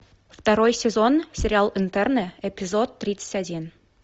второй сезон сериал интерны эпизод тридцать один